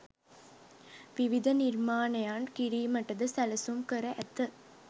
විවිධ නිර්මාණයන් කිරීමටද සැලසුම් කර ඇත.